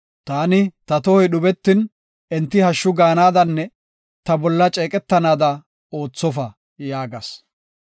Taani, “Ta tohoy dhubetin, enti hashshu gaanadanne ta bolla ceeqetanaada oothofa” yaagas.